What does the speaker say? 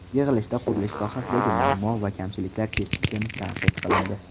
Yig‘ilishda qurilish sohasidagi muammo va kamchiliklar keskin tanqid qilindi.